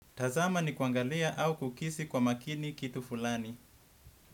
Tazama ni kuangalia au kukisi kwa makini kitu fulani.